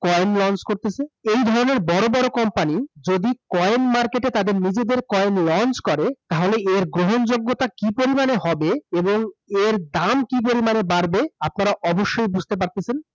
Coin launch করতেসে । এই ধরণের বড় বড় company যদি coin market এ তাদের নিজেদের coin launch করে তাহলে এর গ্রহণ যোগ্যতা কি পরিমাণে হবে এবং এর দাম কি পরিমাণে বাড়বে আপনারা অবশ্যই বুঝতে পারতেসেন ।